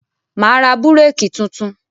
Mà á ra búrékì tuntun.